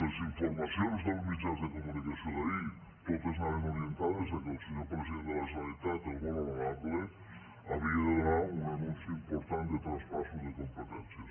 les informacions dels mitjans de comunicació d’ahir totes anaven orientades que el senyor president de la generalitat el molt honorable havia de donar un anunci important de traspassos de competències